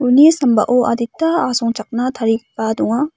uni sambao adita asongchakna tarigipa donga.